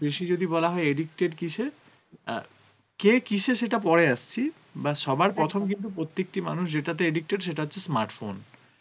বেশি যদি বলা হয়ে addicted কিসে অ্যাঁ কে কিসে সেটা পরে আসছি বা সবার প্রথম প্রথম কিন্তু প্রত্যেকটি মানুষ যেটাতে addicted সেটা হচ্ছে smartphone